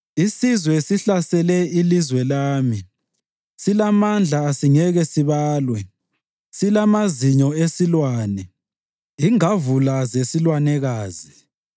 Isizwe sihlasele ilizwe lami, silamandla asingeke sibalwe, silamazinyo esilwane, ingavula zesilwanekazi.